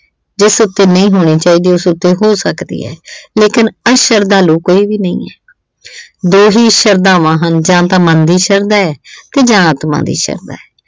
ਜਿਸ ਉੱਤੇ ਨਹੀਂ ਹੋਣੀ ਚਾਹੀਦੀ, ਉਸ ਉੱਤੇ ਹੋ ਸਕਦੀ ਏ। ਲੇਕਿਨ ਅਸ਼ਰਧਾਲੂ ਕੋਈ ਵੀ ਨਹੀਂ ਏ। ਦੋ ਹੀ ਸ਼ਰਧਾਵਾਂ ਹਨ - ਜਾਂ ਤਾਂ ਮਨ ਦੀ ਸ਼ਰਧਾ ਤੇ ਜਾਂ ਆਤਮਾ ਦੀ ਸ਼ਰਧਾ।